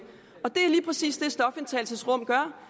stofindtagelsesrum gør